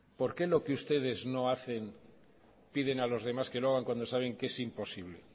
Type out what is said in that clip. por qué lo que ustedes no hacen piden a los demás que lo hagan cuando saben que es imposible